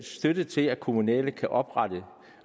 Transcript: støtte til at kommunale kan oprette